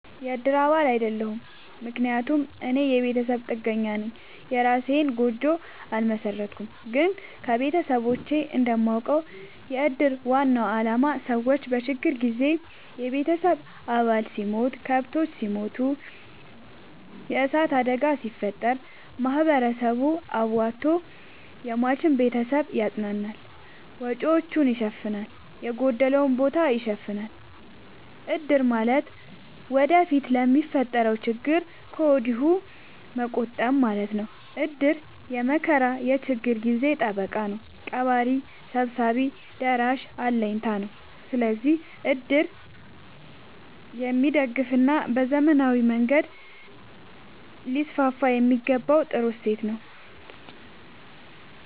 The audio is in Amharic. የእድር አባል አይደለሁም። ምክንያቱም እኔ የቤተሰብ ጥገኛነኝ የእራሴን ጎጆ አልመሠረትኩም። ግን ከቤተሰቦቼ እንደማውቀው። የእድር ዋናው አላማ ሰዎች በችግር ጊዜ የቤተሰብ አባል ሲሞት፤ ከብቶች ሲሞቱ፤ የዕሳት አደጋ ሲፈጠር፤ ማህበረሰቡ አዋቶ የሟችን ቤተሰብ ያፅናናል፤ ወጪወቹን ይሸፋናል፤ የጎደለውን ቦታ ይሸፋናል። እድር ማለት ወደፊት ለሚፈጠረው ችግር ከወዲሁ መቆጠብ ማለት ነው። እድር የመከራ የችግር ጊዜ ጠበቃ ነው። ቀባሪ ሰብሳቢ ደራሽ አለኝታ ነው። ስለዚህ እድር የሚደገፋና በዘመናዊ መንገድ ሊስስፋየሚገባው ጥሩ እሴት ነው።